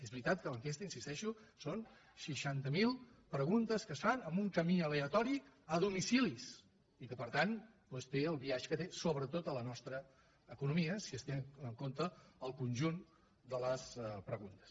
és veritat que l’ enquesta hi insisteixo són seixanta mil preguntes que es fan amb un camí aleatori a domicilis i que per tant té el biaix que té sobretot a la nostra economia si es té en compte el conjunt de les preguntes